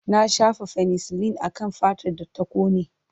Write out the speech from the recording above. Na shafa fenisilin akan fatar da ta kone.